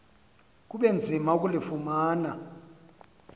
kube nzima ukulufumana